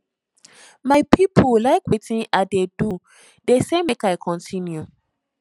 my people like wetin i dey do dey say make i continue